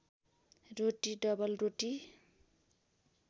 रोटी double रोटी